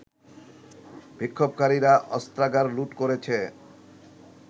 বিক্ষোভকারীরা অস্ত্রাগার লুট করেছে